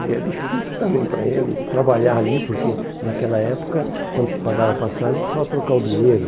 E é difícil também para ele trabalhar ali, porque naquela época, quando se pagava passagem, precisava trocar o dinheiro.